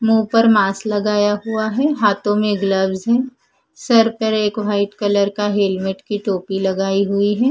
मुंह पर मास्क लगाए हुआ है हाथों में ग्लव्ज है सर पर एक वाइट कलर का हेलमेट की टोपी लगाई हुई हैं।